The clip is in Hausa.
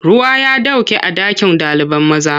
Ruwa ya ɗauke a ɗakin ɗalibai. maza.